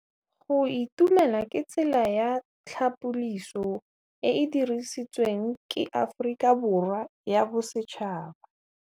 Go itumela ke tsela ya tlhapolisô e e dirisitsweng ke Aforika Borwa ya Bosetšhaba.